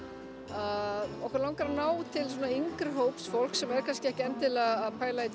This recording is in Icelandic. að okkur langar að ná til yngri hóps fólks sem er kannski ekki endilega að pæla í